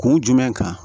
Kun jumɛn kan